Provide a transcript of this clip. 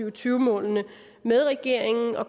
og tyve mål med regeringen og